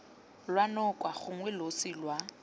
lwa noka gongwe losi lwa